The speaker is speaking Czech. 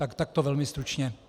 Tak takto velmi stručně.